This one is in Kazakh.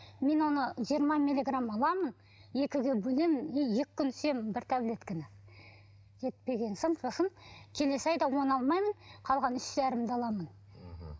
мен оны жиырма миллиграмм аламын екіге бөлемін и екі күн ішемін бір таблетканы жетпеген соң сосын келесі айда оны алмаймын қалған үш жарымды аламын мхм